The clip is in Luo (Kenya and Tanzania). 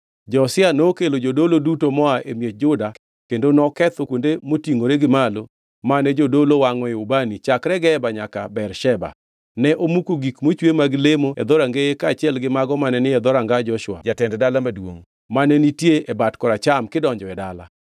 Josia nokelo jodolo duto moa e miech Juda kendo noketho kuonde motingʼore gi malo mane jodologo wangʼoe ubani chakre Geba nyaka Bersheba. Ne omuko gik mochwe mag lemo e dhorangeye kaachiel gi mago mane ni e dhoranga Joshua, jatend dala maduongʼ, mane nitie e bat koracham kidonjo e dala.